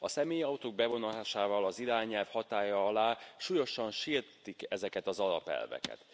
A személyautók bevonásával az irányelv hatálya alá súlyosan sértik ezeket az alapelveket